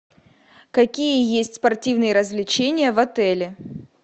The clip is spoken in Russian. какие есть спортивные развлечения в отеле